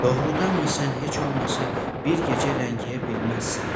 Doğrudanmı sən heç olmasa bir gecə ləngiyə bilməzsən?